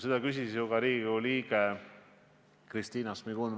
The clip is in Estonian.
Seda küsis ju ka Riigikogu liige Kristina Šmigun-Vähi.